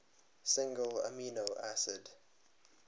single amino acid